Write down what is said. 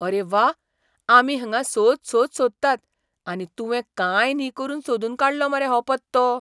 अरे व्वा, आमी हांगां सोद सोद सोदतात आनी तुवें कांय न्ही करून सोदून काडलो मरे हो पत्तो!